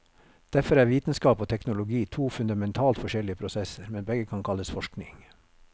Derfor er vitenskap og teknologi to fundamentalt forskjellige prosesser, men begge kan kalles forskning.